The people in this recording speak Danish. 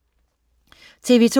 TV2: